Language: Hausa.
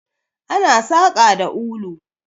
Ana saƙa da ulu.